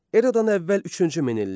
Eradan əvvəl üçüncü minillik.